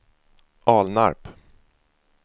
Alnarp